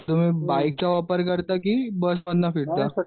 तुम्ही बाईकचा वापर करता की बस फिरता ?